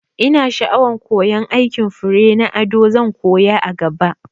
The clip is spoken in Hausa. Ina sha'awan koyan aikin fure na ado, zan koya a gaba